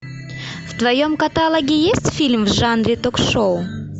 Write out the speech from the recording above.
в твоем каталоге есть фильм в жанре ток шоу